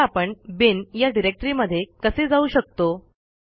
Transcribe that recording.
आता आपण बिन या डिरेक्टरीमध्ये कसे जाऊ शकतो